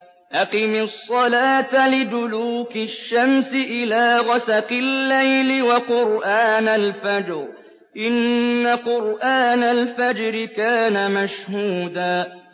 أَقِمِ الصَّلَاةَ لِدُلُوكِ الشَّمْسِ إِلَىٰ غَسَقِ اللَّيْلِ وَقُرْآنَ الْفَجْرِ ۖ إِنَّ قُرْآنَ الْفَجْرِ كَانَ مَشْهُودًا